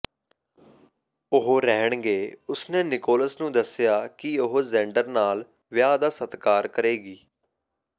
ਉਹ ਰਹਿਣਗੇ ਉਸਨੇ ਨਿਕੋਲਸ ਨੂੰ ਦੱਸਿਆ ਕਿ ਉਹ ਜ਼ੈਂਡਰ ਨਾਲ ਵਿਆਹ ਦਾ ਸਤਿਕਾਰ ਕਰੇਗੀ